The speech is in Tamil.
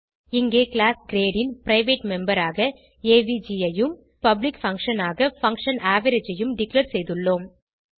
இங்கே கிளாஸ் கிரேட் ன் பிரைவேட் மெம்பர் ஆக ஏவிஜி ஐயும் பப்ளிக் பங்ஷன் ஆக பங்ஷன் அவரேஜ் ஐயும் டிக்ளேர் செய்துள்ளோம்